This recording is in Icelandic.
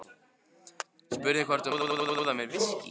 Spurði hvort hún mætti bjóða mér viskí.